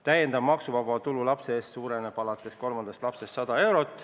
Täiendav maksuvaba tulu lapse eest suureneb alates kolmandast lapsest 100 eurot.